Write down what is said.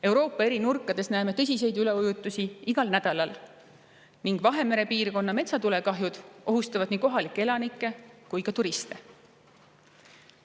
Euroopa eri nurkades näeme tõsiseid üleujutusi igal nädalal ning Vahemere piirkonna metsatulekahjud ohustavad nii kohalikke elanikke kui ka turiste.